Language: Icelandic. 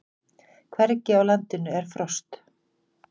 Hvergi á landinu er frost